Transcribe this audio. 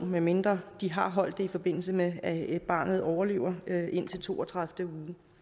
medmindre de har holdt den i forbindelse med at barnet overlever indtil to og tredive uge